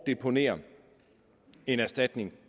deponere en erstatning